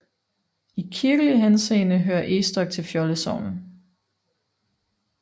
I kirkelig henseende hører Egstok til Fjolde Sogn